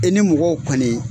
E ni mɔgɔw kɔni